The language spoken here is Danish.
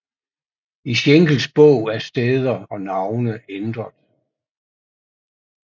I Schenkels bog er steder og navne ændret